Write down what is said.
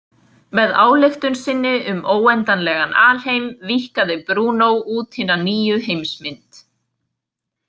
Með ályktun sinni um óendanlegan alheim víkkaði Brúnó út hina nýju heimsmynd.